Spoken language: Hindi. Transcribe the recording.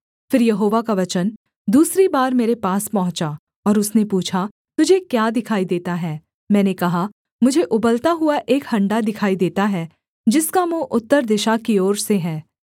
फिर यहोवा का वचन दूसरी बार मेरे पास पहुँचा और उसने पूछा तुझे क्या दिखाई देता है मैंने कहा मुझे उबलता हुआ एक हण्डा दिखाई देता है जिसका मुँह उत्तर दिशा की ओर से है